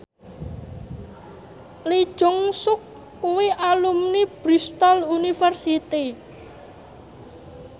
Lee Jeong Suk kuwi alumni Bristol university